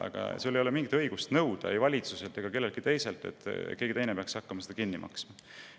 Aga sul ei ole mingit õigust nõuda valitsuselt ega kelleltki teiselt, et keegi peaks hakkama seda kinni maksma.